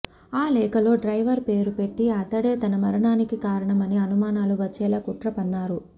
ఆ లేఖలో డ్రైవర్ పేరు పెట్టి అతడే తన మరణానికి కారణమని అనుమానాలు వచ్చేలా కుట్ర పన్నారు